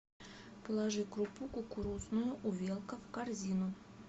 положи крупу кукурузную увелка в корзину